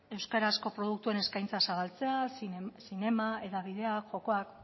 euskarazko produktuen eskaintza zabaltzea zinema hedabideak jokoak